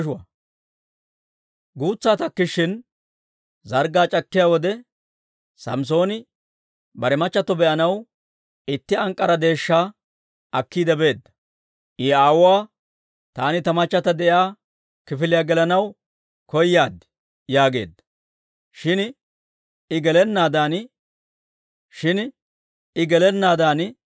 Guutsaa takkishin, zarggaa c'akkiyaa wode, Samssooni bare machchatto be'anaw itti ank'k'ara deeshshaa akkiide beedda; I aawuwaa, «Taani ta machchata de'iyaa kifiliyaa gelanaw koyaad» yaageedda. Shin I gelennaadan, Izi aawuu diggeedda.